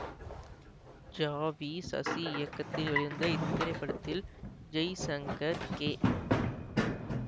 ஜா வி சசி இயக்கத்தில் வெளிவந்த இத்திரைப்படத்தில் ஜெய்சங்கர் கே